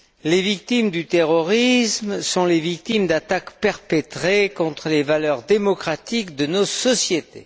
Les victimes du terrorisme sont les victimes d'attaques perpétrées contre les valeurs démocratiques de nos sociétés.